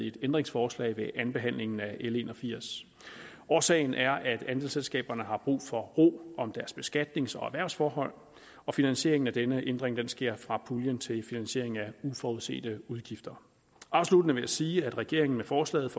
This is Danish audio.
et ændringsforslag ved andenbehandlingen af l en og firs årsagen er at andelsselskaberne har brug for ro om deres beskatnings og erhvervsforhold og finansieringen af denne ændring sker fra puljen til finansiering af uforudsete udgifter afsluttende vil jeg sige at regeringen med forslaget